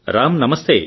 రామ్ నమస్తే